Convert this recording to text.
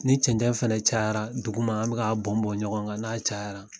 Ni cɛn cɛn fɛnɛ cayara duguma, an be k'a bɔn bɔn ɲɔgɔn kan n'a cayara